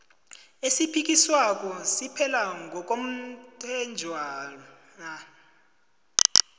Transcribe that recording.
esiphikiswako siphela ngokomthetjhwana